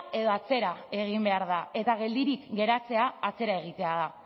edo atzera egin behar da eta geldirik geratzea atzera egitea da